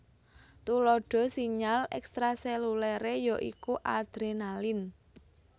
Tuladha sinyal ekstraselulere ya iku adrenalin